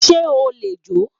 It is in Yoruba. se o le jo?